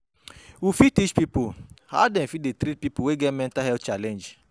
We fit teach pipo how dem fit take treat pipo wey get mental health challenge